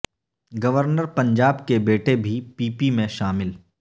governor Punjab کے بیٹے بھی پی پی میں شامل